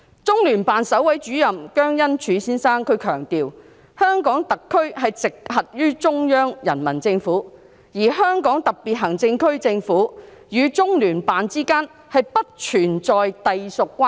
中聯辦首位主任姜恩柱先生強調，香港特別行政區直轄於中央人民政府，而香港特別行政區政府與中聯辦之間不存在隸屬關係。